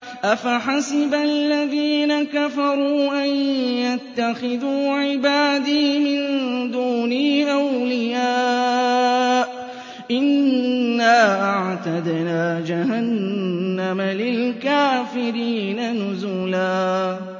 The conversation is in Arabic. أَفَحَسِبَ الَّذِينَ كَفَرُوا أَن يَتَّخِذُوا عِبَادِي مِن دُونِي أَوْلِيَاءَ ۚ إِنَّا أَعْتَدْنَا جَهَنَّمَ لِلْكَافِرِينَ نُزُلًا